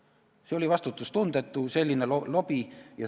Selline lobi oli vastutustundetu.